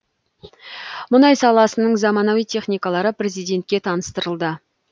мұнай саласының заманауи техникалары президентке таныстырылды